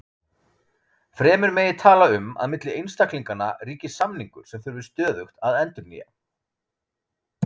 Fremur megi tala um að milli einstaklinganna ríki samningur sem þurfi stöðugt að endurnýja.